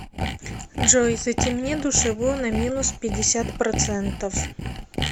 джой затемни душевую на минус пятьдесят процентов